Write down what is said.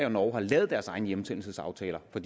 og norge har lavet deres egne hjemsendelsesaftaler for